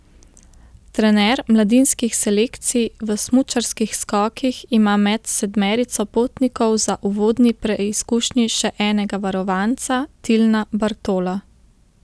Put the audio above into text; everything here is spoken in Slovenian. Trener mladinskih selekcij v smučarskih skokih ima med sedmerico potnikov za uvodni preizkušnji še enega varovanca, Tilna Bartola.